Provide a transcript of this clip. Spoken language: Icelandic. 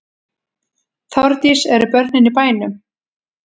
Þórdís: Eru börnin í bænum?